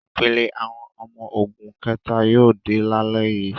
Ìpele àwọn ọmọ ogun kẹ̀ta yóò dé lálẹ́ yìí.